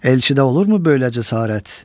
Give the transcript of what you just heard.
Elçidə olurmu böyləcə sərarət?